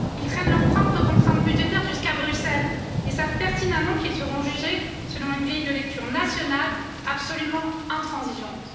ils traînent leurs propres contraintes budgétaires jusqu'à Bruxelles et savent pertinemment qu'ils seront jugés selon une grille de lecture nationale absolument intransigeante.